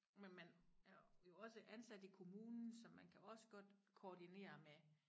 Men man er jo også ansat i kommunen så man kan også godt koordinere med